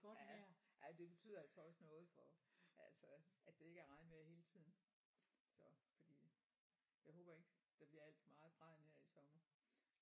Ja ja det betyder altså også noget for altså at det ikke er regnvejr hele tiden så fordi jeg håber ikke der bliver alt for meget regn her i sommer